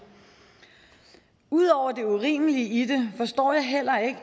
ud over det urimelige i det forstår jeg heller ikke